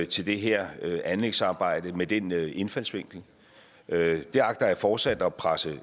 til det her anlægsarbejde med den indfaldsvinkel det agter jeg fortsat at presse